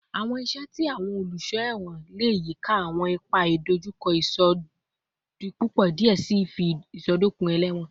Awọn iṣẹ ti awọn oluṣọ ẹwọn le yika awọn ipa idojukọ isodipupo diẹ sii fun isọdọkan ẹlẹwọn